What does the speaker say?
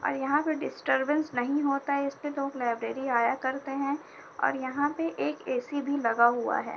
और यहाँ पर डिस्टरबेंस नहीं होता है इसलिए लोग लाइब्रेरी आया करते हैं और यहाँ पे एक ऐसी भी लगा हुआ है।